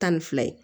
Tan ni fila ye